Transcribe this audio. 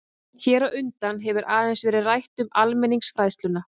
Hér á undan hefur aðeins verið rætt um almenningsfræðsluna.